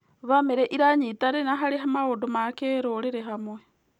Bamĩrĩ ĩranyitanĩra harĩ maũndũ ma kĩrũrĩrĩ hamwe.